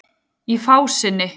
Í fásinni